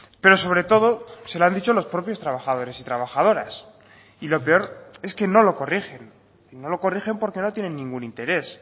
pero sobre todo se lo han dicho los propios trabajadores y trabajadoras y lo peor es que no lo corrigen no lo corrigen porque no tienen ningún interés